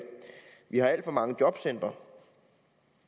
vi har alt for mange jobcentre